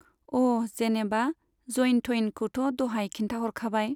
अ' जेनेबा जइन थइनखौथ' दहाय खिन्थाहरखाबाय।